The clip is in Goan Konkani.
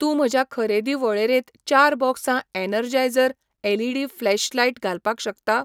तूं म्हज्या खरेदी वळेरेंत चार बॉक्सां एनर्जायझर एलईडी फ्लॅशलायट घालपाक शकता?